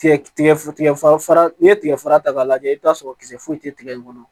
Tigɛ tigɛ fara fara n'i ye tigɛfara ta k'a lajɛ i bi t'a sɔrɔ kisɛ foyi tɛ tigɛ in kɔnɔ